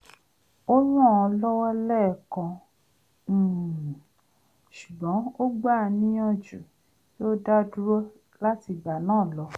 o ràn án lọ́wọ́ lẹ́ẹ̀kan um ṣugbọn ó gbà á níyàjú kí ó dádúró lati ìgbà náà lọ